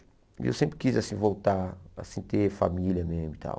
E eu sempre quis assim voltar, assim ter família mesmo e tal.